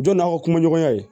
Don n'aw ka kumaɲɔgɔnya ye